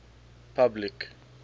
public